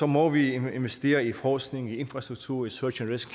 må vi investere i forskning i infrastruktur i social rescue